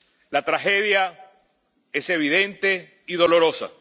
La tragedia es evidente y dolorosa.